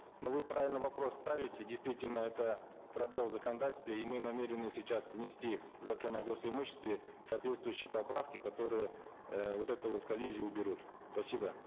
но вы правильно вопрос ставите действительно это пробел в законодательстве и мы намерены сейчас внести в закон о гос имуществе соответствующие поправки которые э вот эту вот коллизию уберут спасибо